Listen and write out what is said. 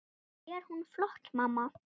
Finnst þér hún flott, mamma?